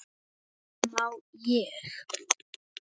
má ég!